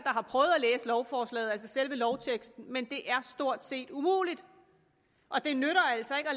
har prøvet at læse lovforslaget altså selve lovteksten men det er stort set umuligt det nytter altså ikke at